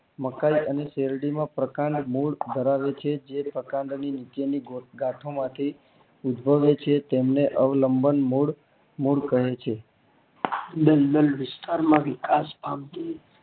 મકાઈ અને શેરડી ના પ્રકાંડ મૂળ ધરાવે છે જે પ્રકાંડ ની નીચે ની ગાંઠો માંથી ઉદ્ભવે છે તેને અવલબંન મૂળ મૂળ કહે છે દલદલ વિસ્તાર માં વિકાસ પામતી